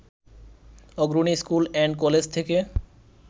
অগ্রণী school and college থেকে